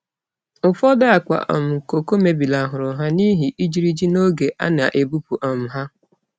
Ufodu akpa um koko mebilahuru ha n'ihi ijiriji n'oge a na-ebupu um ha.